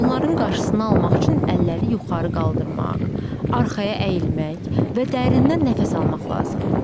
Bunların qarşısını almaq üçün əlləri yuxarı qaldırmaq, arxaya əyilmək və dərindən nəfəs almaq lazımdır.